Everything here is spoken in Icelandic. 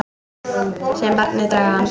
Sé barnið draga andann.